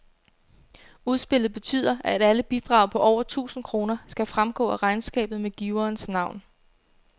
Udspillet betyder, at alle bidrag på over tusind kroner skal fremgå af regnskabet med giverens navn.